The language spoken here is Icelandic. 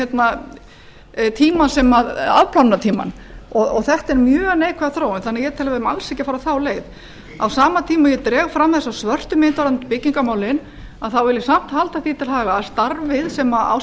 afplánunartímann þetta er mjög neikvæð þróun þannig að ég tel að við eigum alls ekki að fara þá leið á sama tíma og ég dreg fram þessa svörtu mynd varðandi byggingarmálin vil ég samt halda því til haga að starfið sem á